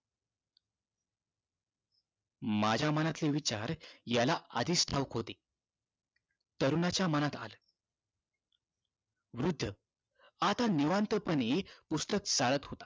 माझ्या मनाचे विचार याला आधीच ठावकी होते तरुणाच्या मनात आला वृद्ध आता निवांतपणे पूस्तक चाळत होता